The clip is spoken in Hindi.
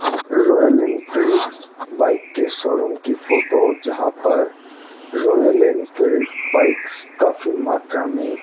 रॉयल एनफील्डस बाइक के शोरूम की फोटो जहां पर रॉयल एनफील्ड बाइक्स काफी मात्रा में --